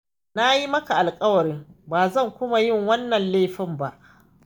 Na yi maka alƙawarin ba zan kuma yin wannan laifin ba.